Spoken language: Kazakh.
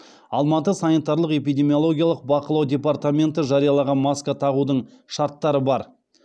алматы санитарлық эпидемиологиялық бақылау департаменті жариялаған маска тағудың шарттары бар